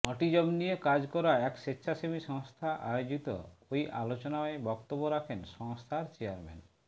autism নিয়ে কাজ করা এক স্বেচ্ছাসেবী সংস্থা আয়োজিত ওই আলোচনায় বক্তব্য রাখেন সংস্থার চেয়ারম্যান